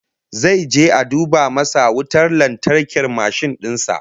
Zai je a duba masa wutar lantarkin mashin din sa